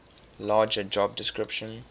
larger job description